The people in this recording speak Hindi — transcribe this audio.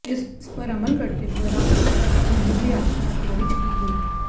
इस पर अमल करते हुए राष्ट्रपति की ओर यह याचिका खारिज की गई